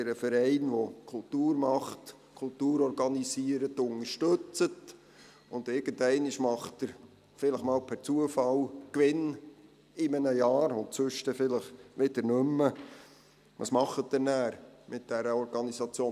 Wenn Sie einen Verein, der Kultur organisiert, unterstützen, und dieser macht in einem Jahr einmal per Zufall Gewinn, ansonsten aber vielleicht wieder nicht mehr, was tun Sie dann mit dieser Organisation?